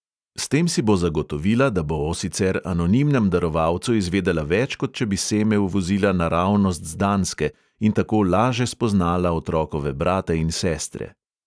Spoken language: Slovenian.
S tem si bo zagotovila, da bo o sicer anonimnem darovalcu izvedela več, kot če bi seme uvozila naravnost z danske, in tako laže spoznala otrokove brate in sestre.